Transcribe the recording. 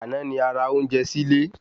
Àná ni a ra ounjẹ sílé